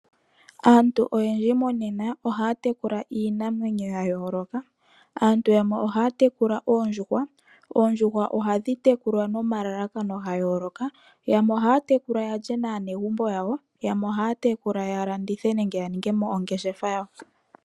Aantu oyendji monena ohaya tekula iinamwenyo ya yoloka, aantu yamwe ohaya tekula oondjuhwa. Oondjuhwa ohadhi tekulwa nomalalakano ga yoloka. Yamwe ohaya te kula yalye naanegumbo yawo, yamwe ohaya tekula ya landithe nenge ya ningemo ongeshefa yawo.